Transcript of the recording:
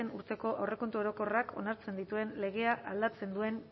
urteko aurrekontu orokorrak onartzen dituen legea aldatzen duen